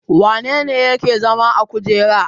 Wane ne yake zama a kujera?